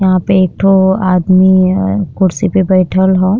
यहाँ पे एकठो आदमी कुर्सी पे बैठल बा।